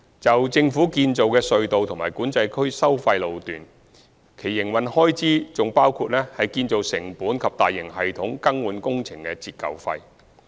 就政府建造的隧道及管制區收費路段，其營運開支還包括建造成本及大型系統更換工程的折舊費。